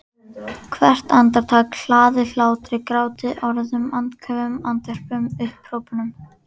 Hvert andartak hlaðið hlátri gráti orðum andköfum andvörpum upphrópunum.